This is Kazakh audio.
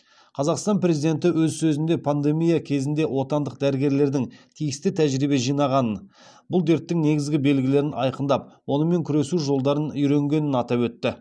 қазақстан президенті өз сөзінде пандемия кезінде отандық дәрігерлердің тиісті тәжірибе жинағанын бұл дерттің негізгі белгілерін айқындап онымен күресу жолдарын үйренгенін атап өтті